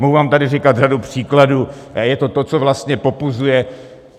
Mohu vám tady říkat řadu příkladů a je to to, co vlastně popuzuje.